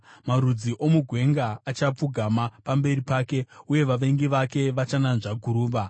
Marudzi omugwenga achapfugama pamberi pake, uye vavengi vake vachananzva guruva.